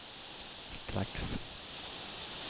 strax